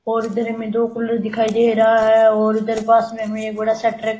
और इधर में दो कूलर दिखाई दे रहा है और इधर पास में बड़ा सा ट्रक --